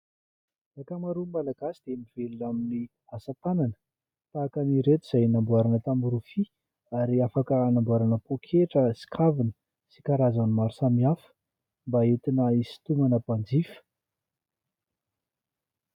Ankamaroan'ny Malagasy dia mivelona amin'ny asatanana tahaka ny ireto, izay namboarana tamina rofia ary afaka hanamboarana poketra sy kavina sy karazany maro samihafa mba hentina hinsitomana mpanjifa.